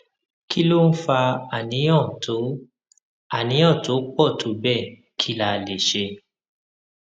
kí ló ń fa àníyàn tó àníyàn tó pò tó béè kí la lè ṣe